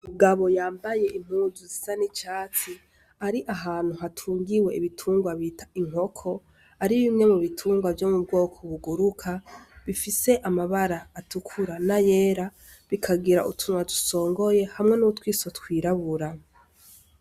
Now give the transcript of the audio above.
Umugabo yambaye impuzu zisa nicasi ari ahantu hatungiwe ibitungwa bita inkoko ari bimwe mu bitungwa vyo mu bwoko buguruka bifise amabara atukura na yera bikagira utunwa dusongoye hamwe n'utwiso twirabura.